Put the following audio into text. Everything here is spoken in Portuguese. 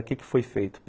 O que que foi feito?